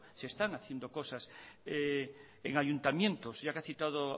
se están haciendo cosas en ayuntamientos ya que ha citado